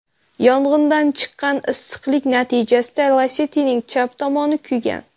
Yong‘indan chiqqan issiqlik natijasida Lacetti’ning chap tomoni kuygan.